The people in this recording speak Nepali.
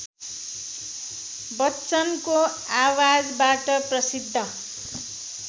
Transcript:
बच्चनको आवाजबाट प्रसिद्ध